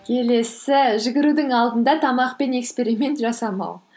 келесі жүгірудің алдында тамақпен эксперимент жасамау